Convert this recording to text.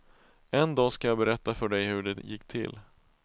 En dag ska jag berätta för dig hur det gick till.